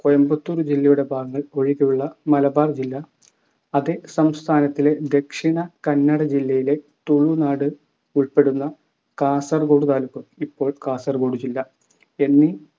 കോയമ്പത്തൂർ ജില്ലയുടെ ഭാഗങ്ങൾ ഒഴികെയുള്ള മലബാർ ജില്ല അതേ സംസ്ഥാനത്തിലെ ദക്ഷിണ കന്നഡ ജില്ലയിലെ തുളുനാട് ഉൾപ്പെടുന്ന കാസർഗോഡ് താലൂക്ക് ഇപ്പോൾ കാസർഗോഡ്‌ ജില്ല എന്നീ